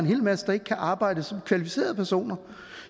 en hel masse der ikke kan arbejde som kvalificerede personer